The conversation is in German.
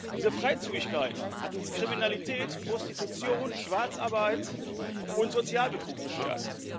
Diese Freizügigkeit hat uns Kriminalität, Prostitution, Schwarzarbeit und Sozialbetrug beschert.